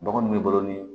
Bagan mun b'i bolo nin